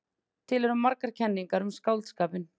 Til eru margar kenningar um skáldskapinn.